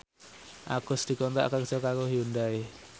Agus dikontrak kerja karo Hyundai